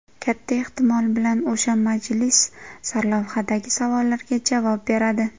Katta ehtimol bilan o‘sha majlis sarlavhadagi savollarga javob beradi.